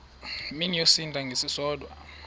mini yosinda ngesisodwa